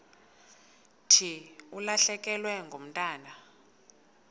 thi ulahlekelwe ngumntwana